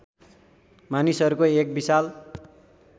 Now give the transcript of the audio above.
मानिसहरूको एक विशाल